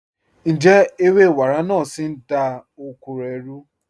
Ǹjẹ̀ ẹwẹ̀ wàrá naà sí ń dá oko rẹ̀ rú?